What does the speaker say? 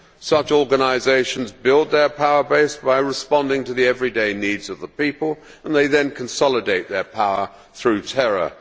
Such organisations build their power base by responding to the everyday needs of the people and they then consolidate their power through terror.